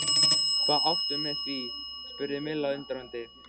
Hvað áttu við með því? spurði Milla undrandi?